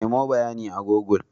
Nemo bayanin a google.